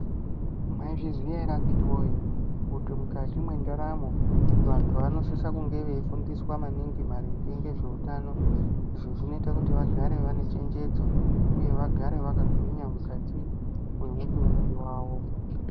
Mwaizviziya ere akiti woye, kuti mukati mwendaramo vantu vanosisa kunge veifundiswa maningi maringe ngezvautano, izvo zvinoita kuti vagare vane chenjedzo, uye vagare vakagwinya mukati mwemitumbi wavo?